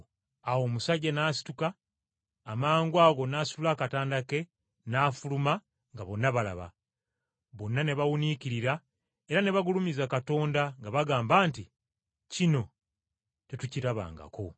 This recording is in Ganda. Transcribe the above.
Awo omusajja n’asituka, amangwago n’asitula akatanda ke n’afuluma nga bonna balaba. Bonna ne bawuniikirira era ne bagulumiza Katonda, nga bagamba nti, “Kino tetukirabangako.”